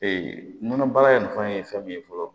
nɔnɔ baara in nafa ye fɛn min ye fɔlɔ